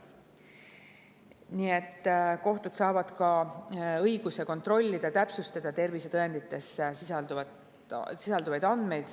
Nii et kohtud saavad ka õiguse kontrollida ja täpsustada tervisetõendites sisalduvaid andmeid.